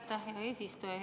Aitäh, hea eesistuja!